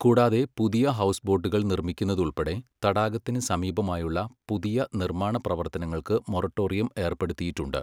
കൂടാതെ, പുതിയ ഹൌസ്ബോട്ടുകൾ നിർമ്മിക്കുന്നത് ഉൾപ്പെടെ തടാകത്തിന് സമീപമായുള്ള പുതിയ നിർമ്മാണ പ്രവർത്തനങ്ങൾക്ക് മൊറട്ടോറിയം ഏർപ്പെടുത്തിയിട്ടുണ്ട്.